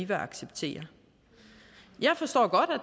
vil acceptere jeg forstår godt og